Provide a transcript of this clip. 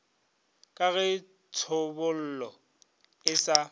ka ge tšhobolo e sa